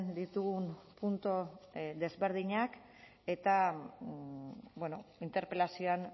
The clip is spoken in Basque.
ditugun puntu desberdinak eta interpelazioan